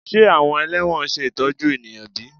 Ṣe awọn ẹlẹwọn ṣe itọju eniyan bi?